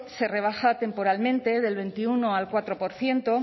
se rebaja temporalmente del veintiuno al cuatro por ciento